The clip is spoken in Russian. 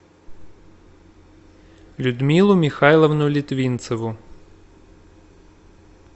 людмилу михайловну литвинцеву